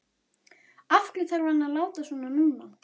Af hverju þarf hann að láta svona núna?